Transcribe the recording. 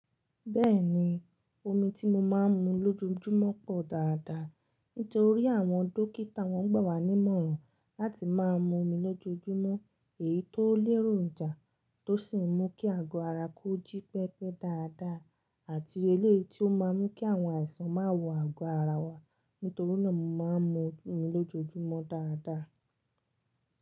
Bẹ́ẹ̀ni, omi tí mo máa ń mu lójoojúmọ́ pọ̀ dáadáa. Nítorí àwọn dókítà wọ́n gbà wá nímọ̀ràn láti máa mu omi lójoojúmọ́, èyí tó lérò jà tó sì ń mú kí àgọ́ ara kó jí pẹ́pẹ́ dáadáa àti eléyi tí ó máa ń mú kí àwọn àìsàn má wọ àgọ́ ara wa. Nítorí náà, mo máa ń mu omi lójoojúmọ́ dáadáa.